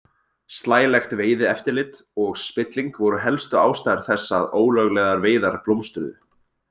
Slælegt veiðieftirlit og spilling voru helstu ástæður þess að ólöglegar veiðar blómstruðu.